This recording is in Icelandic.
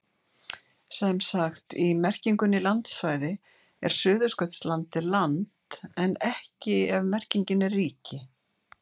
Sem sagt, í merkingunni landsvæði er Suðurskautslandið land en ekki ef merkingin er ríki.